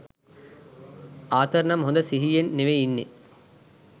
ආතර්නම් හොද සිහියෙන් නෙවෙයි ඉන්නේ.